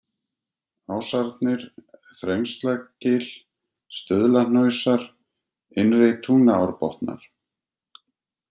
Ásarnir, Þrengslagil, Stuðlahnausar, Innri-Tungnaárbotnar